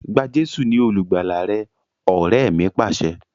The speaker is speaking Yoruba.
Gba Jésù ni olùgbàlà rẹ! Ọrẹ mi Pàṣẹ.